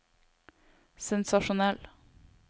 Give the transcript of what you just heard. sensasjonell